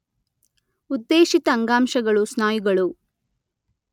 ಉದ್ದೇಶಿತ ಅಂಗಾಂಶಗಳು ಸ್ನಾಯುಗಳು